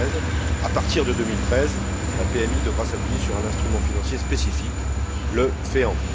2013. À partir de 2013, la PMI devra s'appuyer sur un instrument financier spécifique le FEAMP.